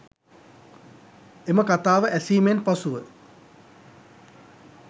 එම කථාව ඇසීමෙන් පසුව